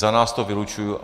Za nás to vylučuji.